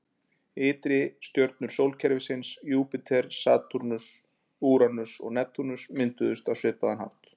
Ytri stjörnur sólkerfisins: Júpíter, Satúrnus, Úranus og Neptúnus, mynduðust á svipaðan hátt.